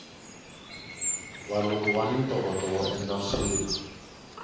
valungu vani ntokoto woendla swilo